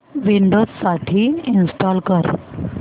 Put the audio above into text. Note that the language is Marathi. विंडोझ साठी इंस्टॉल कर